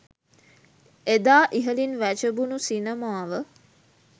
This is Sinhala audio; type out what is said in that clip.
එදා ඉහළින් වැජඹුණු සිනමාව